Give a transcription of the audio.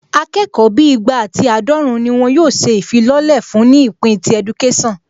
Akẹ́kọ̀ọ́ bíi igba ati àádọ́run ni wọn yóò ṣe ìfilọ́lẹ̀ fún ní ìpín ti ẹdukésàn